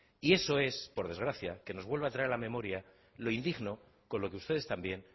y eso es por desgracia que nos vuelve a traer a la memoria lo indigno con lo que ustedes también